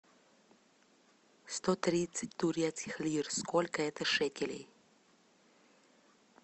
сто тридцать турецких лир сколько это шекелей